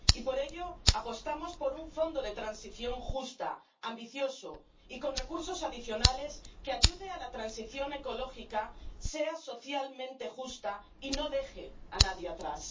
Y por ello, apostamos por un Fondo de Transición Justa, ambicioso y con recursos adicionales, que ayude a que la transición ecológica sea socialmente justa y no deje a nadie atrás.